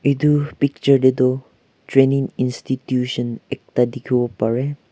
etu picture teh tu trainning institutions ekta dikhibo pare.